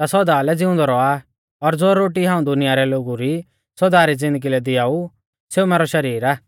ता सौदा लै ज़िउंदौ रौआ और ज़ो रोटी हाऊं दुनिया रै लोगु री सौदा री ज़िन्दगी लै दिआऊ सेऊ मैरौ शरीर आ